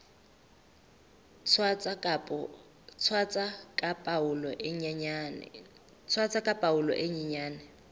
tshwasa ka palo e nyenyane